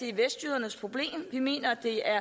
er vestjydernes problem vi mener at det er